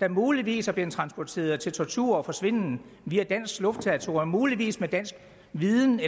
der muligvis er blevet transporteret til tortur og forsvinden via dansk luftterritorium muligvis med dansk viden i